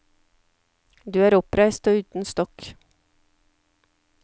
Du er oppreist og uten stokk.